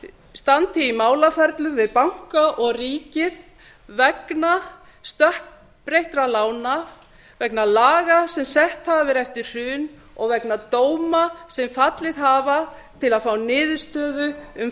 standi í málaferlum við banka og ríkið vegna stökkbreyttra lána vegna laga sem sett hafa verið eftir hrun og vegna dóma sem fallið hafa til að fá niðurstöðu um